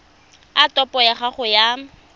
a topo ya gago ya